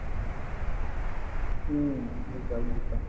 হম বুঝলাম বুঝলাম ।